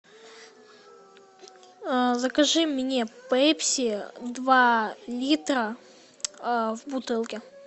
закажи мне пепси два литра в бутылке